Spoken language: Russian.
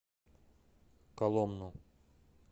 коломну